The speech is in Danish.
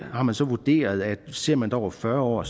har man så vurderet at ser man det over fyrre år